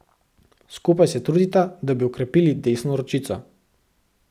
Skupaj se trudita, da bi okrepili desno ročico.